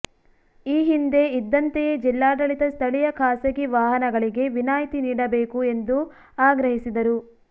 ಈ ಹಿಂದೆ ಇದ್ದಂತೆಯೇ ಜಿಲ್ಲಾಡಳಿತ ಸ್ಥಳೀಯ ಖಾಸಗಿ ವಾಹನಗಳಿಗೆ ವಿನಾಯಿತಿ ನೀಡಬೇಕು ಎಂದು ಆಗ್ರಹಿಸಿದರು